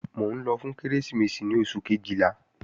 Mò ń lọ fún Kérésìmesì ní oṣù Kejìlá